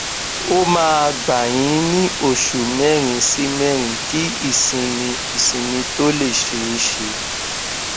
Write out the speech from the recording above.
ó máa gba yín ní òṣù mẹrin sí mẹrin kí ìsinmi ìsinmi tó lè ṣeé ṣe